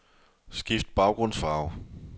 Skift baggrundsfarve.